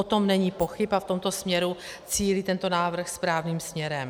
O tom není pochyb a v tomto směru cílí tento návrh správným směrem.